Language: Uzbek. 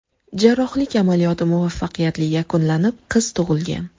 Jarrohlik amaliyoti muvaffaqiyatli yakunlanib, qiz tug‘ilgan.